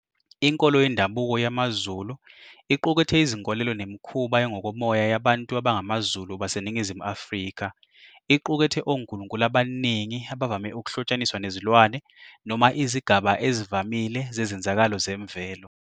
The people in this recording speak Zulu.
Inkolo yendabuko yamaZulu iqukethe izinkolelo nemikhuba engokomoya yabantu abangamaZulu baseningizimu Afrika. Iqukethe onkulunkulu abaningi abavame ukuhlotshaniswa nezilwane noma izigaba ezivamile zezenzakalo zemvelo.